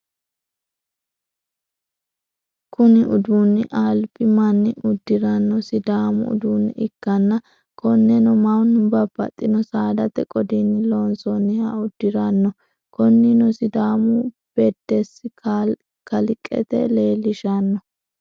Kuni uduunni alibi manni udiranno siddamu uduune ikkanna konnenno manu babaxino saadate qodinni loonsonniha udiranno, koninino sidaamu bedessi kaliqete leelishanno